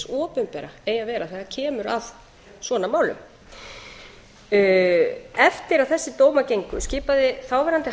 opinbera eigi að vera þegar kemur að svona málum eftir að þessir dómar gengu skipaði þáverandi